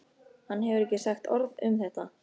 Hann hefur ekki sagt orð um þetta.